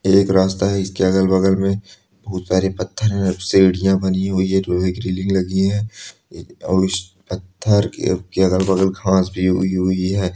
एक रास्ता है इसके अगल वगल में खूब सारे पत्थर है सीढ़िया बनी हुई है और इस पत्थर के अगल-वगल घास भी उगी हुई है।